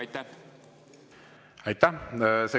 Aitäh!